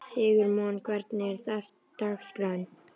Sigurmon, hvernig er dagskráin?